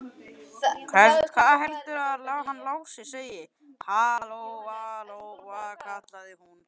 Hvað heldurðu að hann Lási segði, ha, Lóa Lóa, kallaði hún.